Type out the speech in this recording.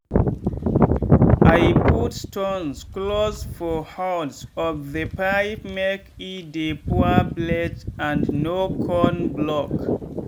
i put stones close for holes of the pipemake e dey pour well and no con block